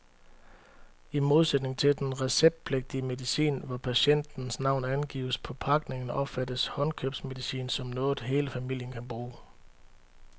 I modsætning til den receptpligtige medicin, hvor patientens navn angives på pakningen, opfattes håndkøbsmedicin som noget, hele familien kan bruge.